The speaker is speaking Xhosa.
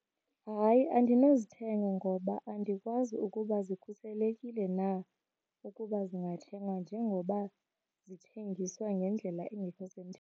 Hayi, andinozithenga ngoba andikwazi ukuba zikhuselekile na ukuba zingathengwa njengoba zithengiswa ngendlela engekho .